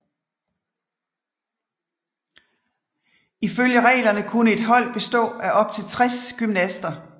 Ifølge reglerne kunne et holdet bestå af op til 60 gymnaster